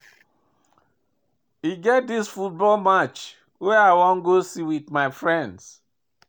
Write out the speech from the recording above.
E get dis football match wey I wan go watch with my friends